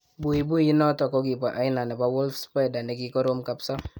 Buibui inotik kokibo aina nebo wolf spider nekikorom kapsa